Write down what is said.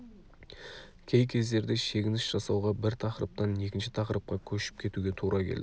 кей кездерде шегініс жасауға бір тақырыптан екінші тақырыпқа көшіп кетуге тура келді